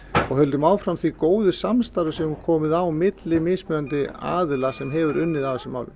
og höldum áfram því góða samstarfi sem er komið á milli mismunandi aðila sem hefur unnið að þessum málum